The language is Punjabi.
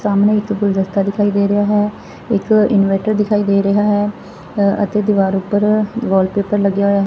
ਸਾਮਣੇ ਇੱਕ ਗੁਲਦਸਤਾ ਦਿਖਾਈ ਦੇ ਰਿਹਾ ਹੈ ਇਕ ਇਨਵਾਈਟ ਦਿਖਾਈ ਦੇ ਰਿਹਾ ਹੈ ਅਤੇ ਦੀਵਾਰ ਉੱਪਰ ਵਾਲਪੇਪਰ ਲੱਗਿਆ ਹੋਇਆ।